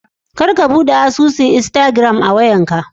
Kar ka bude asusun " instagram" a wayan ka.